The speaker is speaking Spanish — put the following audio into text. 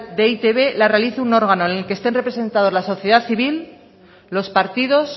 de e i te be la realice un órgano en el que estén representados la sociedad civil los partidos